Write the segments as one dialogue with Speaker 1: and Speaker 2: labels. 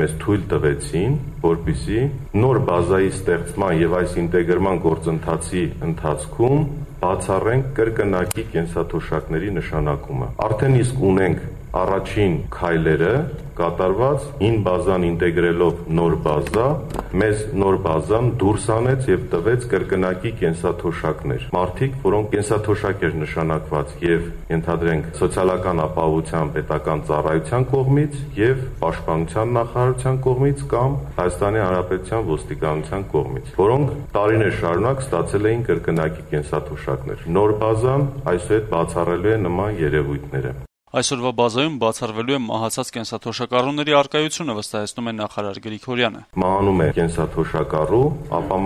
Speaker 1: մեզ թույլ տվեցին, որպեսզի նոր բազայի ստեղծման եւ այս ինտեգրման գործընթացի ընթացքում բացառենք կրկնակի կենսաթոշակների նշանակումը», - լրագրողների հետ հանդիպմանը ասաց Աշխատանքի եւ սոցիալական հարցերի նախարար Արթուր Գրիգորյանը: - «Արդեն իսկ ունենք առաջին քայլերը. հին բազան ինտեգրելով նոր բազա, մեզ նոր բազան դուրս հանեց եւ տվեց կրկնակի կենսաթոշակներ: Մարդիկ, որոնց կենսաթոշակ էր նշանակված, ենթադրենք, ե'ւ Սոցիալական ապահովության պետական ծառայության կողմից, ե'ւ Պաշտպանության նախարարության կողմից կամ Հայաստանի Հանրապետության ոստիկանության կողմից: Որոնք տարիներ շարունակ ստացել էին կրկնակի կենսաթոշակներ: Նոր բազան այսուհետ բացառելու է նման
Speaker 2: երեւույթները»: Նախարարի վստահեցմամբ` այսօրվա բազայում բացառվելու է մահացած կենսաթոշակառուների առկայությունը».
Speaker 1: - «Մահանում է կենսաթոշակառու,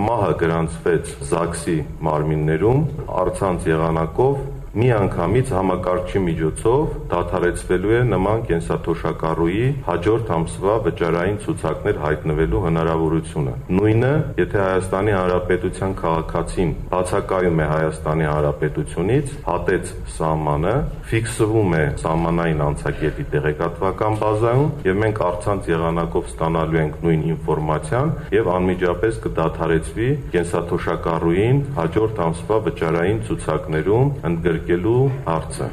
Speaker 1: մահը գրանցվեց ԶԱԳՍ-ի մարմիններում, առցանց եղանակով միանգամից համակարգչի միջոցով դադարեցվելու է նման կենսաթոշակառուի` հաջորդ ամսվա վճարային ցուցակներում հայտնվելու հնարավորությունը: Նույնը` եթե ՀՀ քաղաքացին բացակայում է հանրապետությունից. հատեց սահմանը, ֆիքսվում է սահմանային անցակետի տեղեկատվական բազայում, եւ մենք առցանց եղանակով ստանալու ենք նույն ինֆորմացիան, եւ անմիջապես կդադարեցվի կենսաթոշակառուին հաջորդ ամսվա վճարային ցուցակներում ընդգրկելու հարցը»: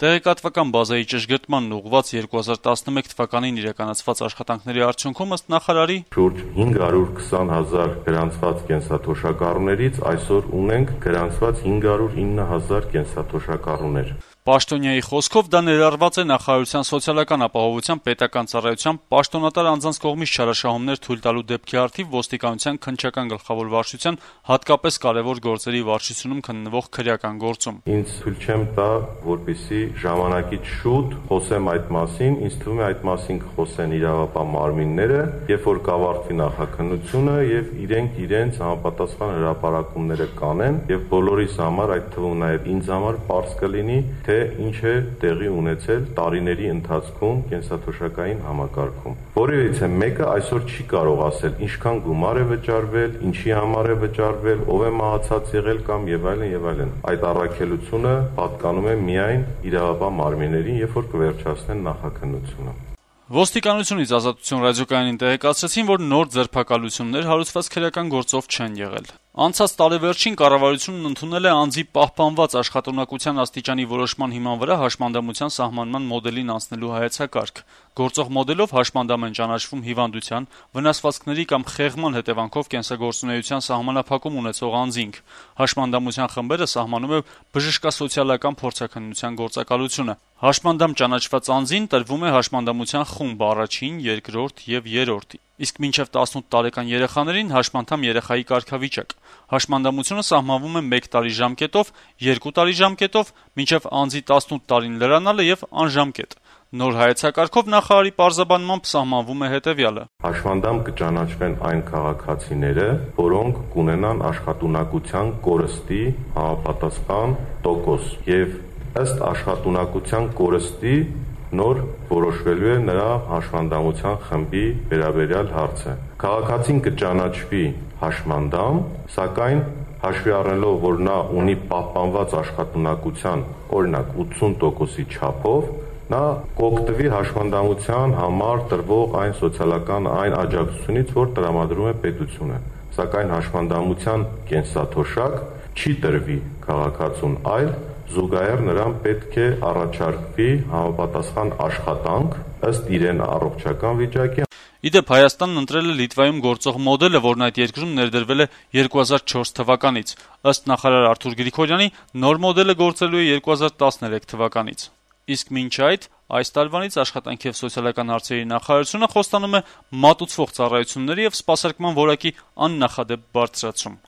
Speaker 2: Տեղեկատվական բազայի ճշգրտմանն ուղղված 2011 թվականին իրականացված աշխատանքների արդյունքում, նախարարի
Speaker 1: խոսքով, շուրջ «520 հազար գրանցված կենսաթոշակառուներից այսօր ունենք գրանցված 509 հազար կենսաթոշակառուներ»:
Speaker 2: Նախարարի խոսքով, դա ներառված է նախարարության սոցիալական ապահովության պետական ծառայության պաշտոնատար անձանց կողմից չարաշահումներ թույլ տալու դեպքի առթիվ ոստիկանության Քննչական գլխավոր վարչության Հատկապես կարեւոր գործերի վարչությունում քննվող քրեական գործում:
Speaker 1: «Ինձ թույլ չեմ տա ժամանակից շուտ խոսել այդ մասին», - հավելեց Գրիգորյանը: - «Ինձ թվում է այդ մասին կխոսեն իրավապահ մարմինները, երբ կավարտվի նախաքննությունը… Եվ բոլորիս համար, այդ թվում նաեւ ինձ համար պարզ կլինի, թե ինչ է տեղի ունեցել տարիների ընթացքում կենսաթոշակային համակարգում: Որեւիցե մեկը այսօր չի կարող ասել, թե ինչքան գումար է վճարվել, ինչի համար է վճարվել, ով է մահացած եղել եւ այլն, եւ այլն: Այդ առաքելությունը պատկանում է միայն իրավապահ մարմիններին»:
Speaker 2: Ոստիկանությունից «Ազատություն» ռադիոկայանին տեղեկացրեցին, որ նոր ձերբակալություններ հարուցված քրեական գործով չեն եղել: Անցած տարեվերջին կառավարությունն ընդունել է «Անձի պահպանված աշխատունակության աստիճանի որոշման հիման վրա հաշմանդամության սահմանման մոդելին անցնելու հայեցակարգ»: Գործող մոդելով հաշմանդամ են ճանաչվում հիվանդության, վնասվածքների կամ խեղման հետեւանքով կենսագործունեության սահմանափակում ունեցող անձինք: Հաշմանդամության խմբերը սահմանում է բժշկասոցիալական փորձաքննության գործակալությունը: Բժշկասոցիալական փորձաքննության ոլորտում իրավասու պետական մարմնի կողմից հաշմանդամ ճանաչված անձին տրվում է հաշմանդամության խումբ (1 ին, 2-րդ եւ 3-րդ), իսկ մինչեւ 18 տարեկան երեխաներին` «հաշմանդամ երեխայի» կարգավիճակ: Հաշմանդամությունը սահմանվում է մեկ տարի ժամկետով, երկու տարի ժամկետով, մինչեւ անձի 18 տարին լրանալը եւ անժամկետ: Նոր հայեցակարգով, նախարարի պարզաբանմամբ, սահմանվում է հետեւյալը.
Speaker 1: - «Հաշմանդամ կճանաչվեն այն քաղաքացիները, որոնք կունենան աշխատունակության կորստի համապատասխան տոկոս: Եվ ըստ աշխատունակության կորստի նոր որոշվելու է նրա հաշմանդամության խնդրի վերաբերյալ հարցը: Քաղաքացին կճանաչվի հաշմանդամ, սակայն, հաշվի առնելով, որ նա ունի պահպանված աշխատունակություն, օրինակ, ութսուն տոկոսի չափով, նա կօգտվի հաշմանդամության համար տրվող սոցիալական այն աջակցությունից, որ տրամադրում է պետությունը: Սակայն հաշմանդամության կենսաթոշակ չի տրվի քաղաքացուն, այլ զուգահեռ նրան պետք է առաջարկվի
Speaker 2: համապատասխան աշխատանք` ըստ իր առողջական վիճակի»: Ի դեպ, Հայաստանն ընտրել է Լիտվայում գործող մոդելը, որն այդ երկրում ներդրվել է 2004 թվականից: Ըստ նախարար Արթուր Գրիգորյանի, նոր մոդելը գործելու է 2013 թվականից: Իսկ այս տարվանից Աշխատանքի եւ սոցիալական հարցերի նախարարությունը խոստանում է մատուցվող ծառայությունների եւ սպասարկման որակի աննախադեպ բարձրացում: